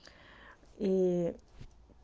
ии